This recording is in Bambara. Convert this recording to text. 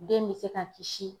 Den bɛ se ka kisi